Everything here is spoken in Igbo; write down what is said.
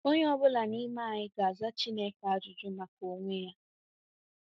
Onye ọ bụla n’ime anyị ga-aza Chineke ajụjụ maka onwe ya.